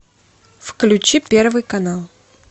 включи первый канал